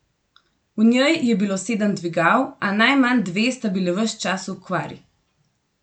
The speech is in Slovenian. V njej je bilo sedem dvigal, a najmanj dve sta bili ves čas v okvari.